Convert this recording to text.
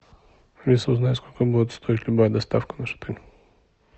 алиса узнай сколько будет стоить любая доставка в наш отель